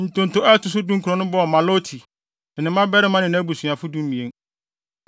Ntonto a ɛto so dunkron no bɔɔ Maloti, ne ne mmabarima ne nʼabusuafo (12)